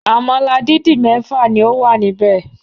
Àmàlà dídì mẹ́fà ni ó wà níbẹ̀.